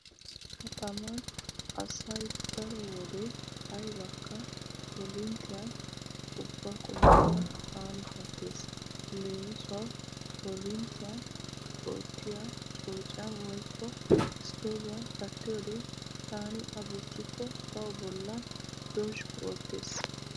Kataman asay daro wode aybakka korinttiyan ubba qumaakka aani kattees. Leemisuwawu korinttiyan oottiya coociyan woykko isttooviyan kattiyode taani a bochchikko tawu bollan dozhggu oottees.